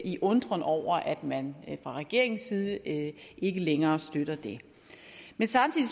i undren over at man fra regeringens side ikke længere støtter det men samtidig